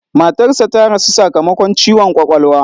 Matarsa ta rasu sakamakon ciwon kwakwalwa.